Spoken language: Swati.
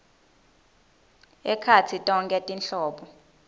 ekhatsi tonkhe tinhlobo